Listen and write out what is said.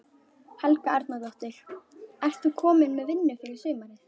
Helga Arnardóttir: Ert þú komin með vinnu fyrir sumarið?